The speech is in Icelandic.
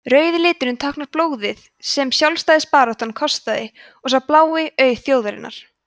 rauði liturinn táknar blóðið sem sjálfstæðisbaráttan kostaði og sá blái auð þjóðarinnar